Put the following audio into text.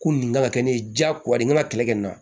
Ko nin kan ka kɛ ne ye diyagoya de ka kɛlɛ kɛ nin na